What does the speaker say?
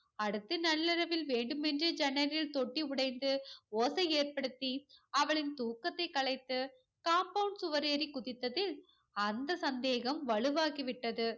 அடுத்து நள்ளிரவில் வேண்டுமென்றே ஜன்னலில் தொட்டி உடைந்து ஓசை ஏற்படுத்தி அவளின் தூக்கத்தை கலைத்து compound சுவர் ஏறிக் குதித்ததில் அந்த சந்தேகம் வலுவாகிவிட்டது.